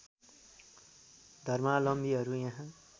धमालम्बीहरू यहाँ